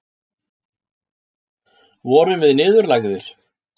Vorum við niðurlægðir?